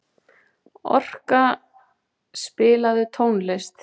Orka, spilaðu tónlist.